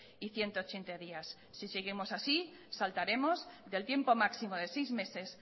y ciento ochenta días si seguimos así saltaremos del tiempo máximo de seis meses